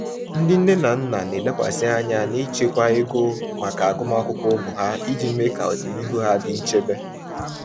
Ndị nne na nna na-elekwasị anya n’ịchekwa ego maka agụmakwụkwọ ụmụ ha iji mee ka ọdịnihu ha dị nchebe.